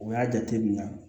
U y'a jate minɛ